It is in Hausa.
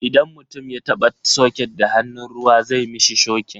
Idan mutum ya taba soket da hannun ruwa zai mishi shokin.